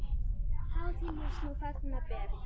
Hátíð lífs nú fagna ber.